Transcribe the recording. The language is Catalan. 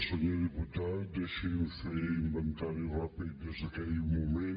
senyor diputat deixi’m fer inventari ràpid des d’aquell moment